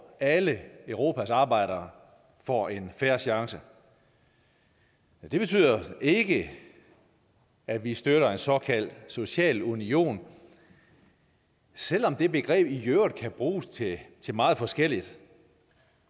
alle europas arbejdere får en fair chance men det betyder ikke at vi støtter en såkaldt social union selv om det begreb i øvrigt kan bruges til til meget forskelligt